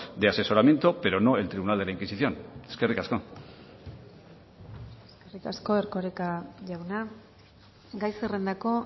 de asesoramiento pero no el tribunal de la inquisición eskerrik asko eskerrik asko erkoreka jauna gai zerrendako